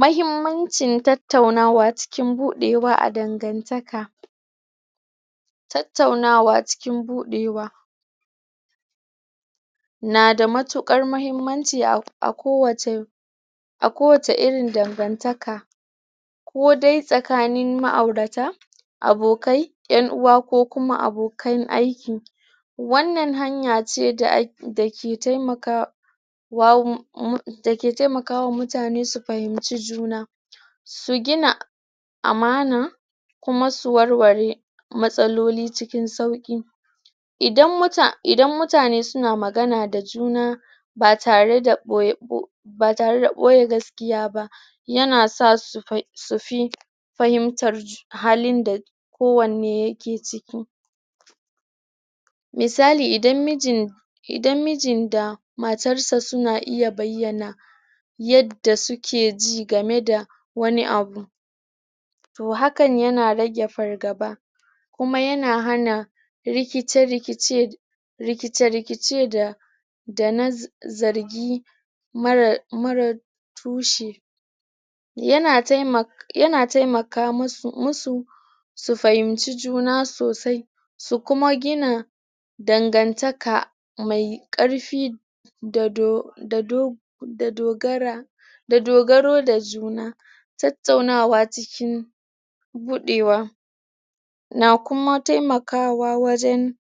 Mahimmancin tattaunawa cikin buɗewa a dangantaka tattaunawa cikin buɗewa na da mattuƙar muhimmanci a kowace a kowace irin dangantaka ko dai tsakanin ma aurata, abokai, 'yan uwa ko kuma abokan aiki wannan hanya ce da ke taimakawa um da ke taimakawa mutane su fahimci juna su gina amana kuma su warware matsaloli cikin sauƙi idan mutane suna magana da juna ba tare da ɓoye...ba tare da ɓoye gaskiya ba ya na sa su fi fahimtar halin da kowanne ya ke ciki misali idan mijin, idan mijin da matarsa suna iya bayyana yadda suke ji game da wani abu toh hakan yana rage fargaba, kuma yana hana rikice rikice rikice rikice da na zargi marar tushi yana taimaka, yana taimaka musu su fahimci juna sosai su kuma gina dangantaka mai ƙarfi um da dogara da dogaro da juna tattaunawa cikin buɗewa na kuma taimakawa wajen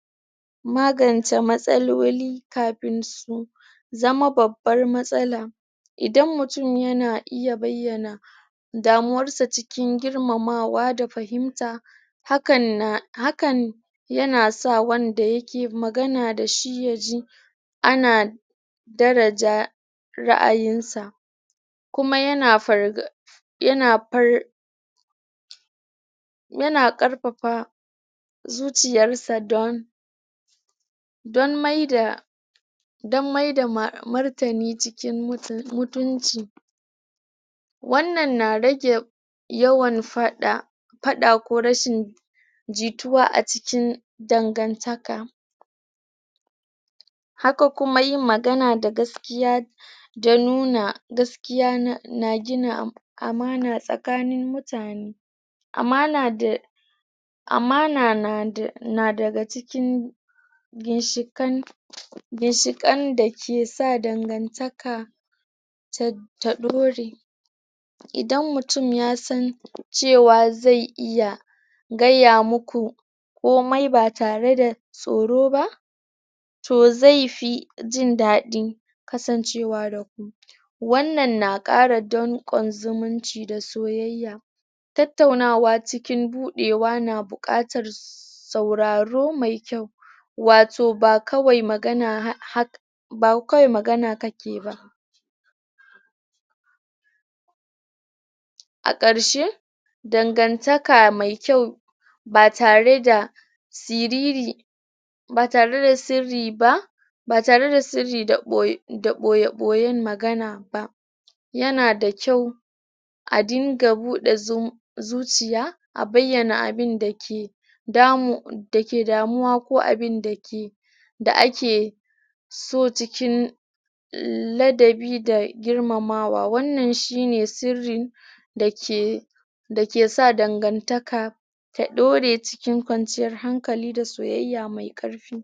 magance magance matsaloli kapin su zama babbar matsala idan mutum yana iya bayyana damuwarsa cikin girmamawa da fahimta hakan na...hakan yana sa wanda yake magana da shi ya ji ana daraja ra'ayin sa kuma yana um yana ƙarpapa zuciyarsa don maida don maida martani cikin mutunci wannan na rage yawan fada... paɗa ko rashin jituwa a cikin dangantaka haka kuma yin magana da gaskiya da nuna gaskiya na gina amana tsakanin mutane amana da...amana na da daga cikin ginshiƙen ginshiƙen da ke sa dangantaka ta ɗore idan mutum ya san cewa zai iya gaya muku komai ba tare da tsoro ba toh zai fi jin daɗin kasancewa da ku wannan na ƙara donƙon zumunci da soyayya tattaunawa cikin buɗewa na buƙatar sauraro mai kyau wato ba kawai magana kake ba a ƙarshe, dangantaka mai kyau ba tare da siriri ba tare da sirri ba ba tare da sirri da ɓoye ɓoyen magana ba yana da kyau a dinga buɗe zuciya a bayyana abinda ke damu...da ke damuwa ko abinda ke... da ake so cikin ladabi da girmamawa, wannan shi ne sirrin da ke sa dangantaka ta ɗore cikin kwanciyar hankali da soyayya mai ƙarfi.